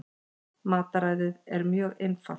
Mataræðið er mjög einfalt